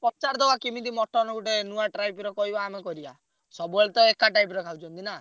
ପଚାରିଦବା କିମିତି ମଟନ ଗୋଟେ ନୂଆ type ର କହିବ ଆମେ କରିଆ। ସବୁବେଳେ ତ ଏକା type ର ଖାଉଛନ୍ତି ନା।